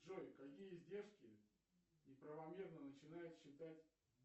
джой какие издержки неправомерно начинает считать